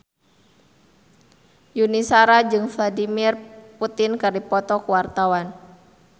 Yuni Shara jeung Vladimir Putin keur dipoto ku wartawan